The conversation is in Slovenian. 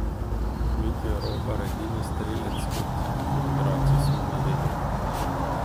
Mitja Robar, edini strelec: 'Kot otroci smo na ledu.